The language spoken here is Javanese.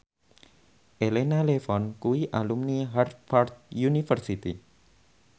Elena Levon kuwi alumni Harvard university